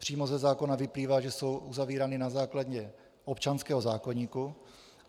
Přímo ze zákona vyplývá, že jsou uzavírány na základě občanského zákoníku.